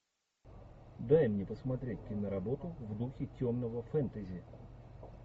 дай мне посмотреть киноработу в духе темного фэнтези